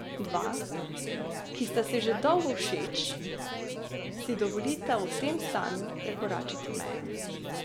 Dva, ki sta si že dolgo všeč, si dovolita v tem stanju prekoračiti mejo.